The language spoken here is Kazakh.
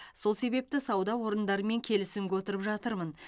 сол себепті сауда орындарымен келісімге отырып жатырмын